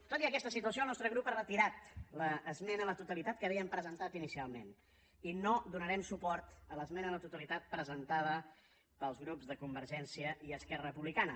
tot i aquesta situació el nostre grup ha retirat l’esmena a la totalitat que havíem presentat inicialment i no donarem suport a l’esmena a la totalitat presentada pels grups de convergència i esquerra republicana